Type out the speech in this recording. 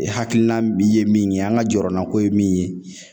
E hakilina min ye min ye an ka jɔrɔnɔna ko ye min ye